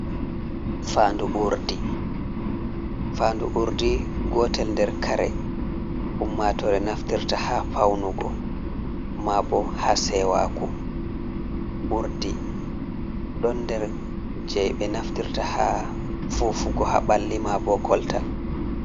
Fandu urdi gotel nder kare ummatore naftirta ha faunugo mabo ha sewaku, urdi ɗo nder je be naftirta ha fufugo haɓalli, mabo koltal.